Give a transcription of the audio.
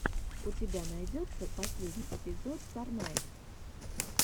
у тебя найдется последний эпизод сорнайд